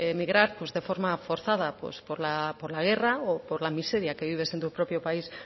migrar pues de forma forzada pues por la guerra o por la miseria que vives en tu propio país